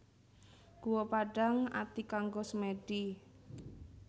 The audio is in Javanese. Guwa Padang Ati kanggo semèdi